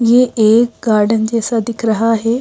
ये एक गार्डन जैसा दिख रहा है।